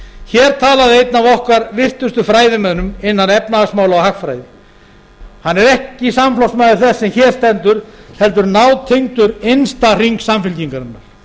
hér talaði einn af okkar virtustu fræðimönnum innan efnahagsmála og hagfræði hann er ekki samflokksmaður þess sem hér stendur heldur nátengdur innsta hring samfylkingarinnar